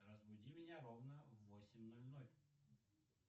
разбуди меня ровно в восемь ноль ноль